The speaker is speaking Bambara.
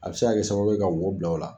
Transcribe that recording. A bɛ se ka kɛ sababu ye ka wo bila o la.